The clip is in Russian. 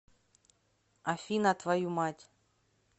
афина твою мать